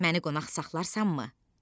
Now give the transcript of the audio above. Məni qonaq saxlarsanmı?